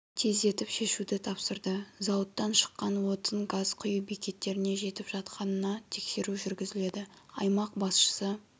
тездетіп шешуді тапсырды зауыттан шыққан отын газ құю бекеттеріне жетіп жатқанына тексеру жүргізіледі аймақ басшысы